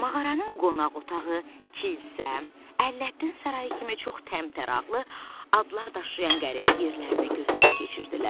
Mağaranın qonaq otağı, kilsə, Ələddin sarayı kimi çox təmtəraqlı adlar daşıyan qəribə yerlərini gözdən keçirdilər.